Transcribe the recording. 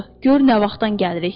Gör nə vaxtdan gəlirik.